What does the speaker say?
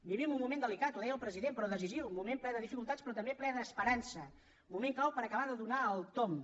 vivim un moment delicat ho deia el president però decisiu moment ple de dificultats però també ple d’esperança moment clau per acabar de donar el tomb